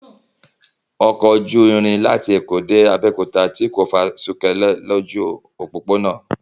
Ọkọ ojú irin láti Èkó dé Abẹ́òkúta tí kò fa súkere lójú òpópónà